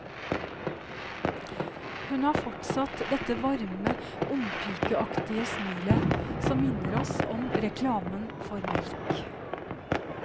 Hun har fortsatt dette varme, ungpikeaktige smilet, som minner oss om reklamen for melk.